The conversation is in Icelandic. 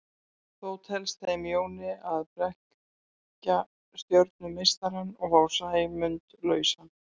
Þó tekst þeim Jóni að blekkja stjörnumeistarann og fá Sæmund lausan.